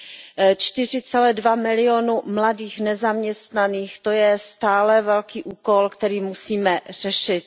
4,2 milionu mladých nezaměstnaných, to je stále velký úkol, který musíme řešit.